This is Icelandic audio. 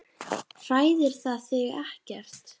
Ég trúi þessu bara varla.